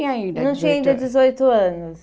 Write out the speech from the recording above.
ainda dezoito anos. Não tinha ainda dezoito anos.